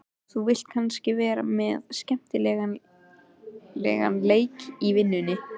Þú vilt kannski vera með skemmtilegan leik í vinnunni?